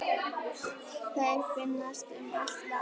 Þeir finnast um allt land.